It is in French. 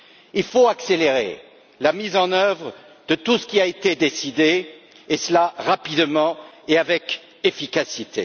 Il faut accélérer la mise en œuvre de tout ce qui a été décidé, et ce rapidement et avec efficacité.